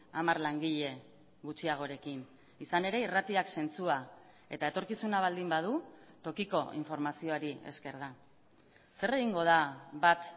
hamar langile gutxiagorekin izan ere irratiak zentzua eta etorkizuna baldin badu tokiko informazioari esker da zer egingo da bat